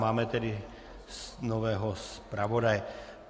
Máme tedy nového zpravodaje.